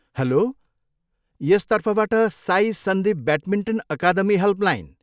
Hello! यस तर्फबाट Sai Sandeep badminton academy helpline.